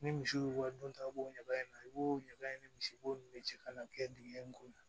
Ni misi y'u ka don ta b'o ɲɛgɛn na i b'o ɲagaɲaga misiw de cɛ ka na kɛ dingɛ in ko la